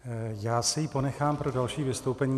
Já si ji ponechám pro další vystoupení.